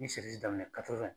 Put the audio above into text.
N ye daminɛ